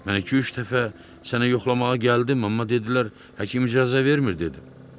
Mən iki-üç dəfə səni yoxlamağa gəldim, amma dedilər həkim icazə vermir dedi.